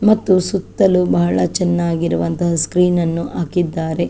ಮತ್ತು ಸುತ್ತಲೂ ಬಹಳ ಚೆನ್ನಾಗಿರುವಂತಹ ಸ್ಕ್ರೀನ್ ನನ್ನು ಹಾಕಿದ್ದಾರೆ .